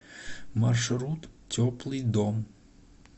маршрут теплый дом